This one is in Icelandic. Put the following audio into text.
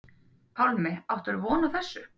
Pálmi: Áttirðu von á þessu?